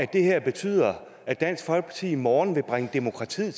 det her betyder at dansk folkeparti i morgen vil bringe demokratiet